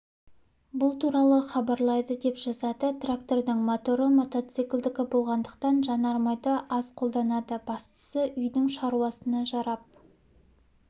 бұл туралы хабарлайды деп жазады трактордың моторы мотоциклдікі болғандықтан жанармайды аз қолданады бастысы үйдің шаруасына жарап